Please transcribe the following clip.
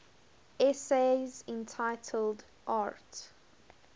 essays entitled arte